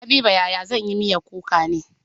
Habiba yaya zan yi miyan kuka ne?